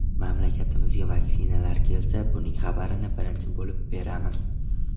Mamlakatimizga vaksinalar kelsa, buning xabarini birinchi bo‘lib beramiz”.